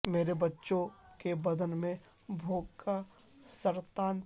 میرے بچوں کے بدن میں بھوک کا سرطان تھا